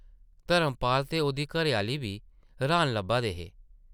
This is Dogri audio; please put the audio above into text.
धर्मपाल ते ओह्दी घरै-आह्ली बी रहान लब्भा दे हे ।